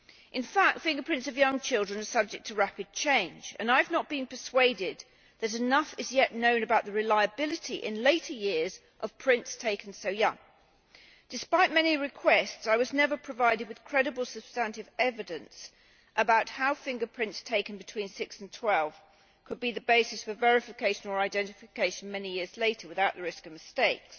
In fact fingerprints of young children are subject to rapid change, and I have not been persuaded that enough is yet known about the reliability in later years of prints taken so young. Despite many requests, I was never provided with credible substantive evidence about how fingerprints taken between six and twelve years of age could be the basis for verification or identification many years later without the risk of mistakes.